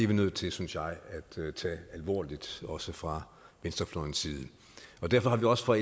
vi nødt til synes jeg at tage alvorligt også fra venstrefløjens side derfor har vi også fra